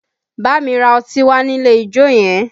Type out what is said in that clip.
Bámi ra ọtí wá nílé ijó yẹn!